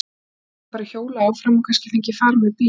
Hann gæti bara hjólað áfram og kannski fengið far með bíl.